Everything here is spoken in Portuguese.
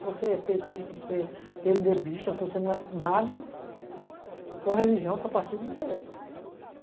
Se você é petista, se você é pê eme dê bista, se você não é nada, tua religião, teu partida não interessa.